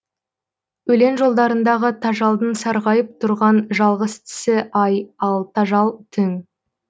өлең жолдарындағы тажалдың сарғайып тұрған жалғыз тісі ай ал тажал түн